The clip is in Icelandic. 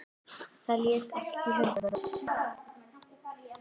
Það lék allt í höndum hans.